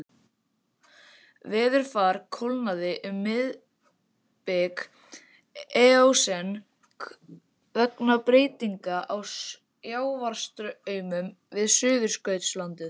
Veðurfar kólnaði um miðbik eósen vegna breytinga á sjávarstraumum við Suðurskautslandið.